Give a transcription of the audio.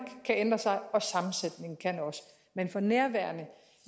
kan ændre sig og sammensætningen kan også men for nærværende